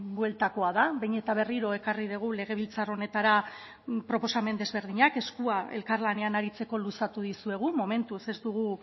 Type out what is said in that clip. bueltakoa da behin eta berriro ekarri dugu legebiltzar honetara proposamen desberdinak eskua elkarlanean aritzeko luzatu dizuegu momentuz ez dugu